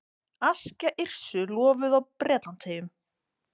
Aska Yrsu lofuð á Bretlandseyjum